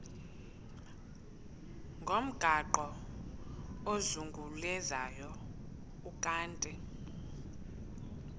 ngomgaqo ozungulezayo ukanti